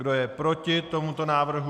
Kdo je proti tomuto návrhu?